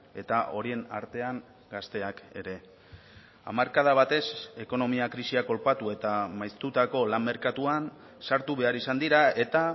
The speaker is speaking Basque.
eta horien artean gazteak ere hamarkada batez ekonomia krisiak kolpatu eta maiztutako lan merkatuan sartu behar izan dira eta